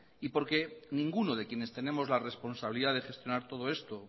y porque ninguno de quienes tenemos la responsabilidad de gestionar todo esto